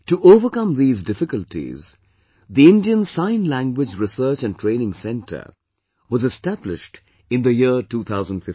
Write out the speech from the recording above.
To overcome these difficulties, the Indian Sign Language Research and Training Center was established in the year 2015